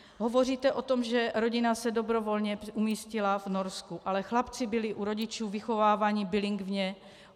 Hovoříte o tom, že rodina se dobrovolně umístila v Norsku, ale chlapci byli u rodičů vychováváni bilingvně.